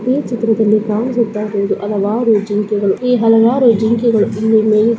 ಈ ಚಿತ್ರದಲ್ಲಿ ಕಾಣಿಸುತ್ತಾ ಇರುವುದು ಹಲವಾರು ಜಿಂಕೆಗಳು ಈ ಹಲವಾರು ಜಿಂಕೆಗಳು ಇಲ್ಲಿ ಮೇಯುತಿದವೇ--